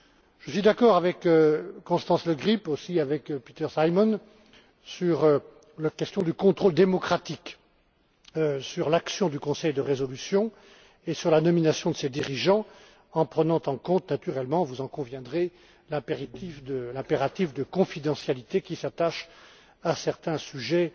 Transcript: Je suis d'accord avec Constance Le Grip ainsi qu'avec Peter Simon sur la question du contrôle démocratique, sur l'action du conseil de résolution et sur la nomination de ses dirigeants, en prenant en compte naturellement vous en conviendrez l'impératif de confidentialité qui s'attache à certains